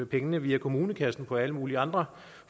pengene via kommunekassen på alle mulige andre